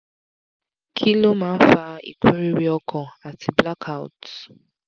kí ló máa ń fa ikuriri ọkàn àti black outs?